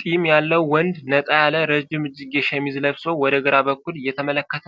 ጢም ያለው ወንድ ነጣ ያለ ረጅም እጅጌ ሸሚዝ ለብሶ ወደ ግራ በኩል እየተመለከተ፣